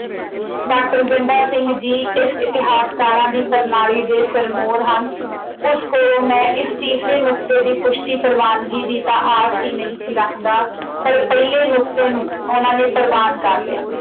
Doctor Ganda Singh ji ਇਸ ਇਤਿਹਾਸਕਾਰਾਂ ਦੀ ਪ੍ਰਣਾਲੀ ਦੇ ਸਿਰਮੋਰ ਹਨ। ਉਸ ਕੋਲ ਮੈਂ ਇਸ ਤੀਸਰੇ ਨੁਕਤੇ ਦੀ ਪੁਸ਼ਟੀ ਪ੍ਰਵਾਨਗੀ ਦੀ ਤਾਂ ਆਸ ਹੀ ਨਹੀਂ ਸੀ ਰੱਖਦਾ, ਪਰ ਪਹਿਲੇ ਨੁਕਤੇ ਨੂੰ ਉਨ੍ਹਾਂ ਨੇ ਪ੍ਰਵਾਨ ਕਰ ਲਿਆ।